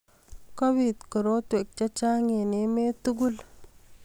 kobit koroiwek chechang eng emet tugul